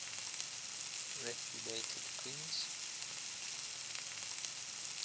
repudiated queens